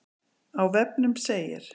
Á vefnum segir